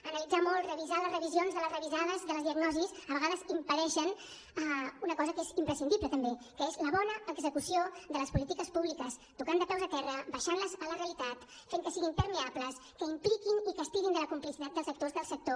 analitzar molt revisar les revisions de les revisades de les diagnosis a vegades impedeix una cosa que és imprescindible també que és la bona execució de les polítiques públiques tocant de peus a terra baixant les a la realitat fent que siguin permeables que impliquin i que estirin la complicitat dels actors del sector